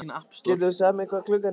Getur þú sagt mér hvað klukkan er?